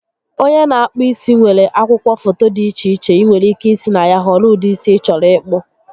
Onye n'akpụ isi nwere akwụkwọ foto dị iche iche ịnwere ike isi na ya họrọ ụdị isi ị chọrọ ịkpụ